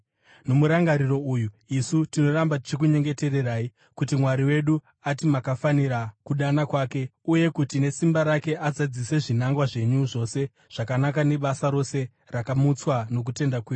Nomurangariro uyu, isu tinoramba tichikunyengetererai, kuti Mwari wedu ati makafanira kudana kwake, uye kuti nesimba rake azadzise zvinangwa zvenyu zvose zvakanaka nebasa rose rakamutswa nokutenda kwenyu.